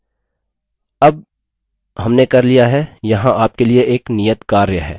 अब हमने कर लिया है यहाँ आपके लिए एक नियत कार्य है: